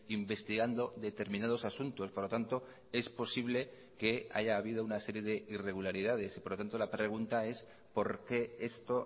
investigando determinados asuntos por lo tanto es posible que haya habido una serie de irregularidades y por lo tanto la pregunta es por qué esto